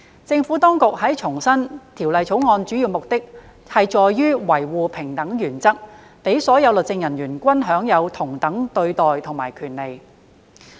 政府當局重申《條例草案》主要目的在於維護平等原則，讓所有律政人員均享有同等對待及權利。